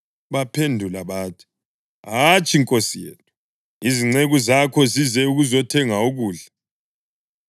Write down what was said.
Baphendula bathi, “Hatshi, nkosi yethu. Izinceku zakho zize ukuzothenga ukudla.